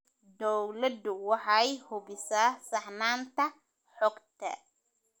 Dawladdu waxay hubisaa saxnaanta xogta.